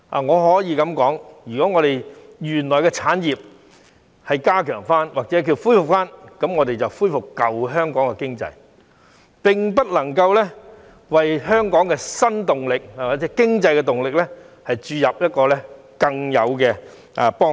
我可以這樣說，如果我們加強或恢復原來的產業，我們只是恢復舊香港的經濟，並不能夠對香港的新動力及經濟動力有更大的幫助。